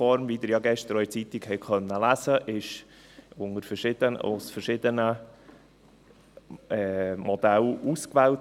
Wie Sie gestern auch in der Zeitung lesen konnten, wurde die Uniform aus verschiedenen Modellen ausgewählt.